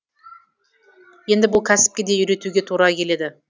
енді бұл кәсіпке де үйретуге тура келеді